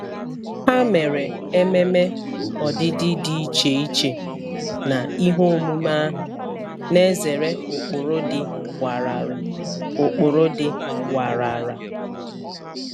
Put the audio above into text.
Ha mere ememe ọdịdị dị iche iche na ihe omume ahụ, na-ezere ụkpụrụ dị warara. ụkpụrụ dị warara.